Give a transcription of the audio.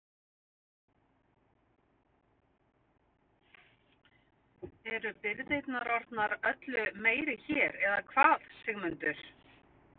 En birgðirnar eru orðnar öllu meiri hér eða hvað Sigmundur?